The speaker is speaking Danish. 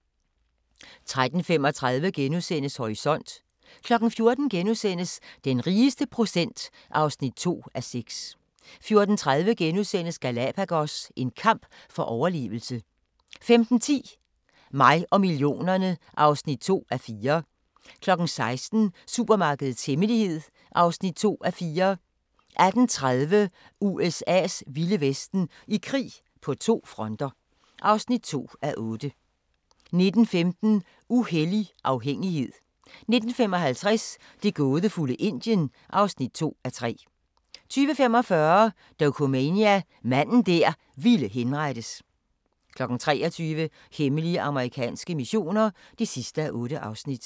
13:35: Horisont * 14:00: Den rigeste procent (2:6)* 14:30: Galapagos – en kamp for overlevelse * 15:10: Mig og millionerne (2:4) 16:00: Supermarkedets hemmelighed (2:4) 18:30: USA's vilde vesten: I krig på to fronter (2:8) 19:15: Uhellig afhængighed 19:55: Det gådefulde Indien (2:3) 20:45: Dokumania: Manden der ville henrettes 23:00: Hemmelige amerikanske missioner (8:8)